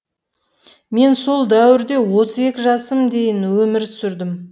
мен сол дәуірде отыз екі жасыма дейін өмір сүрдім